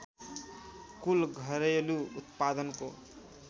कुल घरेलु उत्पादनको